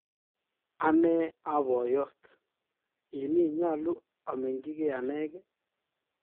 Ane aa poyot, ini nyalu amenyinge anenge?